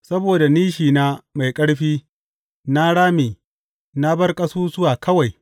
Saboda nishina mai ƙarfi na rame na bar ƙasusuwa kawai.